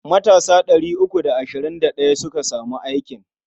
Matasa ɗari uku da ashirin da ɗaya suka samu aikin.